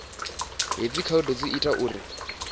hedzi khaedu dzi ita uri